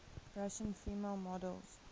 russian female models